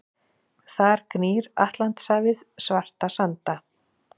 Þar gnýr Atlantshafið svarta sanda.